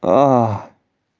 ааа